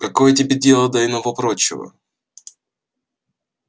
какое тебе дело до иного-прочего